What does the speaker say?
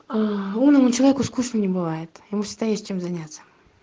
умному человеку скучно не бывает ему считаюсь чем заняться